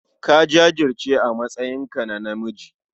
Ka jajirce a matsayinka na namiji.